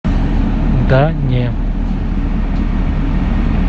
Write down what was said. да не